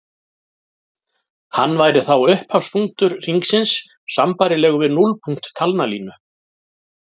Hann væri þá upphafspunktur hringsins sambærilegur við núllpunkt talnalínu.